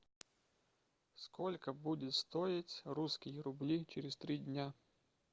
сколько будет стоить русские рубли через три дня